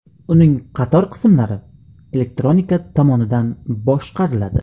Uning qator qismlari elektronika tomonidan boshqariladi.